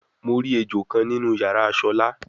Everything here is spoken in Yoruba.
Mo ri ejo kan ninu yara Shola